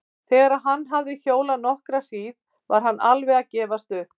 Þegar hann hafði hjólað nokkra hríð var hann alveg að gefast upp.